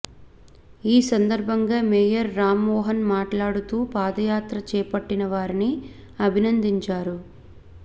ఈ సందర్భంగా మేయర్ రాంమోహన్ మాట్లాడుతూ పాదయాత్ర చేపట్టిన వారిని అభినందించారు